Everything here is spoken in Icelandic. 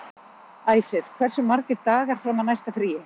Æsir, hversu margir dagar fram að næsta fríi?